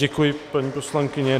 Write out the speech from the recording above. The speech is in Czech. Děkuji, paní poslankyně.